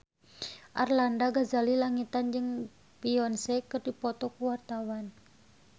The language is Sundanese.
Arlanda Ghazali Langitan jeung Beyonce keur dipoto ku wartawan